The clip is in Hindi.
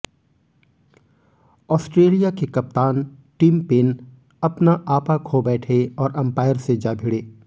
ऑस्ट्रेलिया के कप्तान टिम पेन अपना आप खो बैठे और अंपायर से जा भिड़े